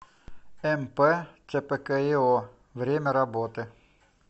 мп цпкио время работы